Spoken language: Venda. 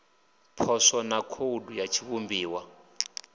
poswo na khoudu ya tshiivhumbiwa